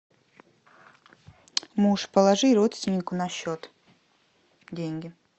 муж положи родственнику на счет деньги